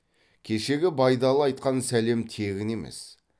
кешегі байдалы айтқан сәлем тегін емес